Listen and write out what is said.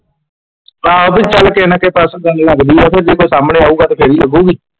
ਹਾਂ ਉਹ ਵੀ ਨਾ ਕਹੇ ਤੇ ਜੋ ਕੋਈ ਸਾਹਮਣੇ ਆਊਗਾ ਤੇ ਫੇਰ ਹੀ ਲੱਗੂਗੀ।